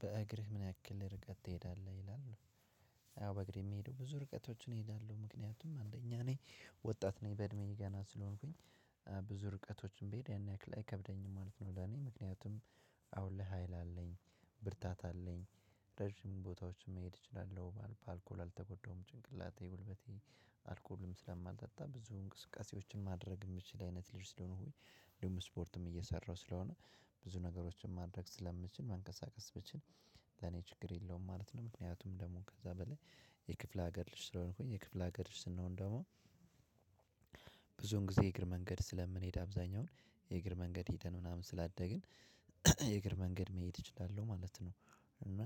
በእግርህ ምን ያክል ርቀት ትሄዳለህ ይላል? አዎ በእግሬ የሚሄደው ብዙ ርቀቶችን እሄዳለሁ ምክንያቱም አንደኛ ነኝ ወጣት ነኝ በእድሜዬ ገና ስለሆንኩኝ ብዙ ርቀቶችንም ብሄድ ያን ያክል አይከብደኝም ማለት ነው። ለኔ ምክንያቱም አሁን ለሀይል አለኝ ብርታት አለኝ ረጅም ቦታዎችን መሄድ እችላለሁ። በአልኮል አልተጎዳሁም ጭንቅላቴ ጉልበቴ አልኮልም ስለማልጠጣ ብዙ እንቅስቃሴዎችን ማድረግ ምችል አይነት ልጅ ስለሆንኩኝ። ስፖርትም እየሰራሁ ስለሆነ ብዙ ነገሮችን ማድረግ ስለምችል መንቀሳቀስ ብችል ለኔ ችግር የለውም ማለት ነው። ምክንያቱም ደግሞ ከዛ በላይ የክፍለ ሀገር ልጅ ስለሆንኩኝ የክፍለ ሀገር ስንሆን ደግሞ ብዙን ጊዜ የእግር መንገድ ስለምንሄድ አብዛኛውን የእግር መንገድ ሄደን ምናምን ስላደግን የእግር መንገድ መሄድ እችላለሁ ማለት ነው። እና